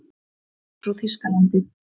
Ég er frá Þýskalandi.